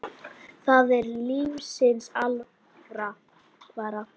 Það er lífsins alvara.